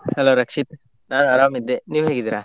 Hello Rakshit ನಾನ್ ಆರಾಮ್ ಇದ್ದೆ, ನೀವ್ ಹೇಗಿದ್ದೀರಾ?